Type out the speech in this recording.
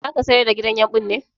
Zaka sayar da gidan yumɓun ne?